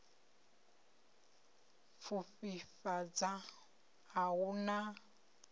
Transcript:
u pfufhifhadza a hu na